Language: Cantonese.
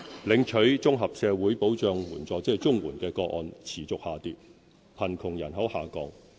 領取綜合社會保障援助的個案持續下跌；貧窮人口下降。